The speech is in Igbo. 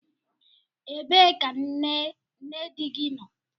Ebee ka nne di gị nọ?